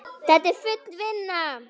Þetta er full vinna!